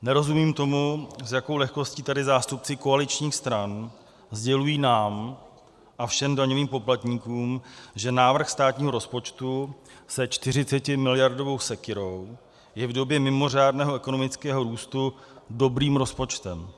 Nerozumím tomu, s jakou lehkostí tady zástupci koaličních stran sdělují nám a všem daňovým poplatníkům, že návrh státního rozpočtu se 40miliardovou sekyrou je v době mimořádného ekonomického růstu dobrým rozpočtem.